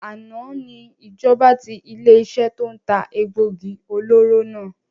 Àná ni ìjọba tí ilé iṣẹ́ to ń ta egbògi olóró náà